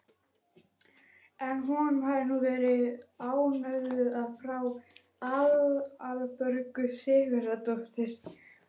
En honum hafði hún verið ánöfnuð af frú Aðalbjörgu Sigurðardóttur.